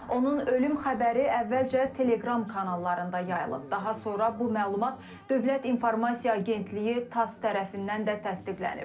Onun ölüm xəbəri əvvəlcə teleqram kanallarında yayılıb, daha sonra bu məlumat dövlət informasiya agentliyi TASS tərəfindən də təsdiqlənib.